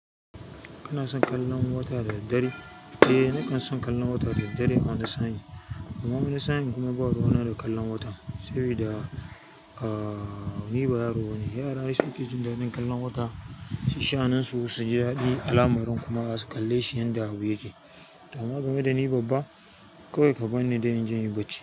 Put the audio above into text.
Kana son kallon wata da dare? Eh, nakan son kallon wata da dare a wani sanyi. Amma wani sa'in kuma ba ruwana da kallon wata, sabida, ah, ni ba yaro bane. Yara ai su ke jin daɗin kallon wata, su sha'aninsu, su ji daɗi alamirin kuma su ƙalle shi yanda abu yake. Amma game da ni babba, kawai ka bani da in janye bacci.